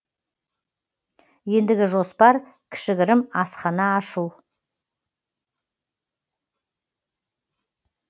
ендігі жоспар кішігірім асхана ашу